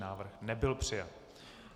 Návrh nebyl přijat.